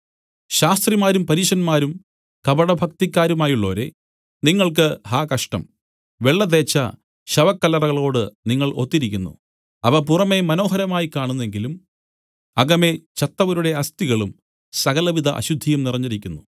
ശാസ്ത്രിമാരും പരീശന്മാരും കപടഭക്തിക്കാരുമായുള്ളോരേ നിങ്ങൾക്ക് ഹാ കഷ്ടം വെള്ള തേച്ച ശവക്കല്ലറകളോട് നിങ്ങൾ ഒത്തിരിക്കുന്നു അവ പുറമെ മനോഹരമായി കാണുന്നെങ്കിലും അകമേ ചത്തവരുടെ അസ്ഥികളും സകലവിധ അശുദ്ധിയും നിറഞ്ഞിരിക്കുന്നു